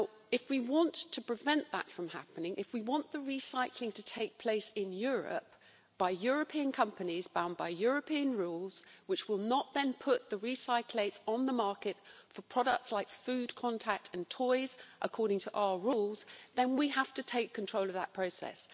If we want to prevent that from happening, if we want the recycling to take place in Europe, by European companies bound by European rules, which will not then put the recyclates on the market for products like food contact materials and toys, according to our rules, then we have to take control of that process.